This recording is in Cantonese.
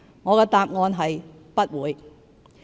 我的答案是"不會"。